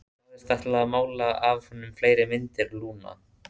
Þú sagðist ætla að mála af honum fleiri myndir, Lúna.